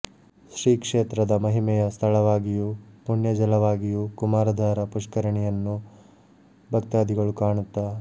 ಶ್ರೀ ಕ್ಷೇತ್ರದ ಮಹಿಮೆಯ ಸ್ಥಳವಾಗಿಯು ಪುಣ್ಯಜಲವಾಗಿಯು ಕುಮಾರ ಧಾರ ಪುಷ್ಕರಣಿಯನ್ನು ಭಕ್ತಾಧಿಗಳು ಕಾಣುತ್ತಾ